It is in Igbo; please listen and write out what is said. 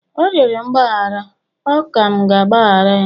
ọ rịọrọ mgbaghara, ọ ka m ga-agbaghara ya?